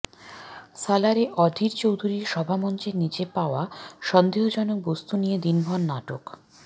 সালারে অধীর চৌধুরীর সভামঞ্চের নিচে পাওয়া সন্দেহজনক বস্তু নিয়ে দিনভর নাটক